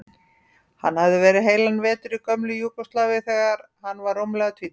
Hann hafði verið heilan vetur í gömlu Júgóslavíu þegar hann var rúmlega tvítugur.